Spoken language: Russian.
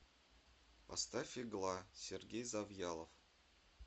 поставь игла сергей завьялов